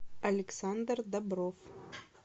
александр добров